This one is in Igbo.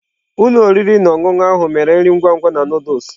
Ụlọ oriri na ọṅụṅụ ahụ mere nri ngwa ngwa na Nụdụls.